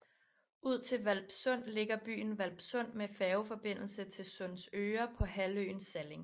Ud til Hvalpsund ligger byen Hvalpsund med færgeforbindelse til Sundsøre på halvøen Salling